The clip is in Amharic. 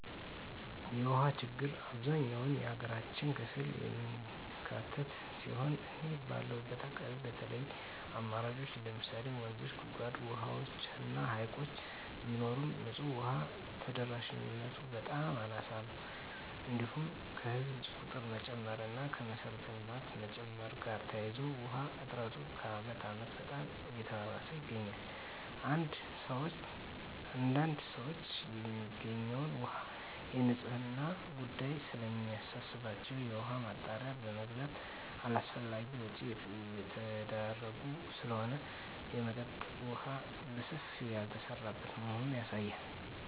የውሃ ችግር አብዛኛው የሀገራችን ክፍል የሚካትት ሲሆን እኔ ባለሁበት አካባቢ የተለያዩ አማራጮች ለምሳሌ ወንዞች; ጉድጓድ ውሃዎች እና ሀይቅ ቢኖርም ንፁህ ውሃ ተደራሽነቱ በጣም አናሳ ነው። እንዲሁም ከህዝብ ቁጥር መጨመር እና ከመሰረተ ልማቶች መጨመር ጋር ተያይዞ የውሃ እጥረቱ ከአመት አመት በጣም እየባሰበት ይገኛል። አንዳንድ ሰዎች የሚገኘው ውሃ የንፅህናው ጉዳይ ስለሚያሳስባቸው የውሃ ማጣሪያ በመግዛት አላስፈላጊ ወጭ እየተዳረጉ ስለሆነ የመጠጠጥ የውሃ በሰፊው ያልተሰራበት መሆኑ ያሳያል።